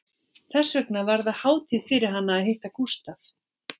Þess vegna var það hátíð fyrir hana að hitta Gústaf